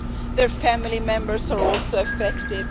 Their family members are also affected.